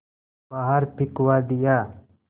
बाहर फिंकवा दिया